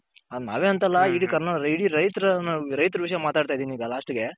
ನಾವೇ ಅಂತಲ್ಲ ಇಡಿ ಕರ್ನಾಟಕದ್ ಇಡಿ ರೈತರುನು ರೈತರ ವಿಷಯ ಮಾತಾಡ್ತಿದೀನಿ ಈಗ la st ಗೆ .